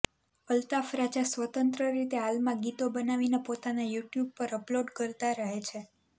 અલ્તાફ રાજા સ્વતંત્ર રીતે હાલમાં ગીતો બનાવીને પોતાના યુટ્યુબ પર અપલોડ કરતા રહે છે